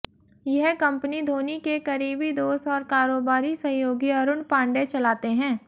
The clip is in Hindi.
यह कंपनी धोनी के करीबी दोस्त और कारोबारी सहयोगी अरुण पांडेय चलाते हैं